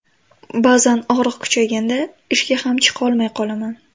Ba’zan og‘riq kuchayganda ishga ham chiqolmay qolaman.